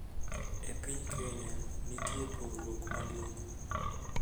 E piny Kenya, nitie pogruok maduong'